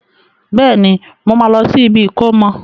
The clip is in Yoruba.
Bẹ́ẹ̀ni, mo máa lọ sí ibi ìkómọ.